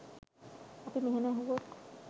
අපි මෙහෙම ඇහුවොත්